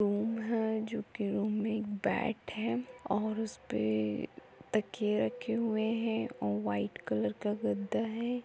Room है जो की रूम मे एक बेड है और उसपे तकिये रखे हुए है और वाइट कलर का गद्दा है।